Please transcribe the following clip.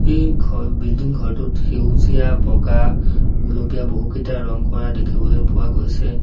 এই ঘ বিল্ডিং ঘৰটোত সেউজীয়া বগা গুলপীয়া বহুকেইটা ৰং কৰা দেখিবলৈ পোৱা গৈছে।